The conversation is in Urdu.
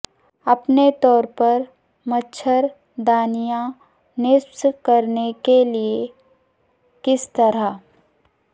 اپنے طور پر مچھر دانیاں نصب کرنے کے لئے کس طرح